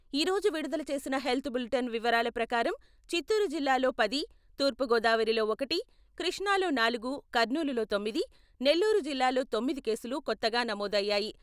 ఈ రోజు విడుదల చేసిన హెల్త్ బులిటెన్ వివరాల ప్రకారం చిత్తూరు జిల్లాలో పది , తూర్పు గోదావరిలో ఒకటి , కృష్ణాలో నాలుగు , కర్నూలులో తొమ్మిది , నెల్లూరు జిల్లాలో తొమ్మిది కేసులు కొత్తగా నమోదయ్యాయి.